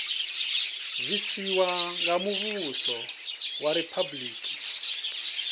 bvisiwa nga muvhuso wa riphabuliki